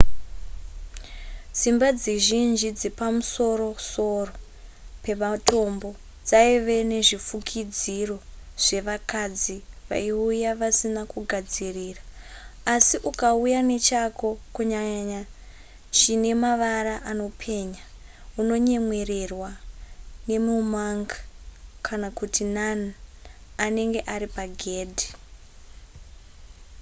dzimba dzizhinji dzepamusoro-soro pematombo dzaive nezvifukidziro zvevakadzi vaiuya vasina kugadzirira asi ukauya nechako kunyanya chine mavara anopenya unonyemwererwa nemu monk kana kut nun anenge ari pagedhi